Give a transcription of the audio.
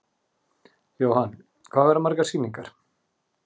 Jóhann: Hvað verða margar sýningar?